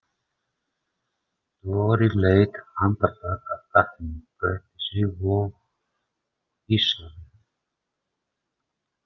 Dóri leit andartak af gatinu, gretti sig og hvíslaði: